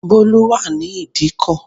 Bólú wà ní ìdíkò